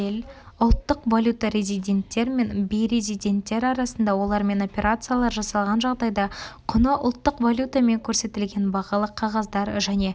ұлттық валюта резиденттер мен бейрезиденттер арасында олармен операциялар жасалған жағдайда құны ұлттық валютамен көрсетілген бағалы қағаздар және төлем